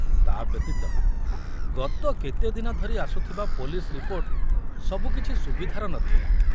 ତା ବ୍ୟତୀତ, ଗତ କେତେଦିନ ଧରି ଆସୁଥିବା ପୋଲିସ ରିପୋର୍ଟ ସବୁ କିଛି ସୁବିଧାର ନଥିଲା।